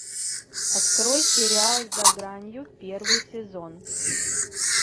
открой сериал за гранью первый сезон